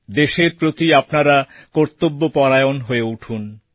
দেশের প্রতি আপনারা কর্তব্যপরায়ণ হয়ে উঠুন